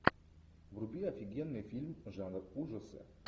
вруби офигенный фильм жанр ужасы